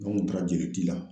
N go n kun taara jeli di la